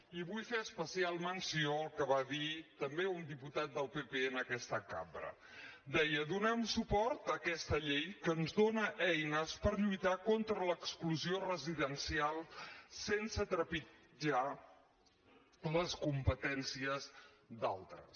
i vull fer especial menció al que va dir també un diputat del pp en aquesta cambra deia donem suport a aquesta llei que ens dona eines per lluitar contra l’exclusió residencial sense trepitjar les competències d’altres